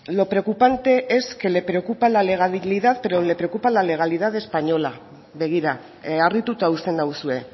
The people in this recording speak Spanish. lo preocupante es que le preocupa la legalidad pero le preocupa la legalidad española begira harrituta uzten nauzue